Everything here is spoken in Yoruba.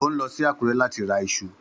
Ó ń lọ sí Akure láti ra iṣu